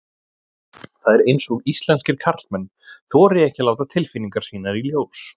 Það er eins og íslenskir karlmenn þori ekki að láta tilfinningar sínar í ljós.